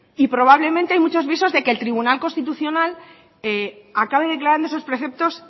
y probablemente hay muchos visos de que el tribunal constitucional acabe declarando esos preceptos